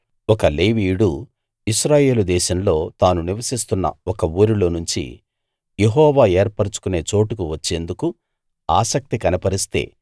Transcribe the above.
ఒక లేవీయుడు ఇశ్రాయేలు దేశంలో తాను నివసిస్తున్న ఒక ఊరిలో నుంచి యెహోవా ఏర్పరచుకునే చోటుకు వచ్చేందుకు ఆసక్తి కనపరిస్తే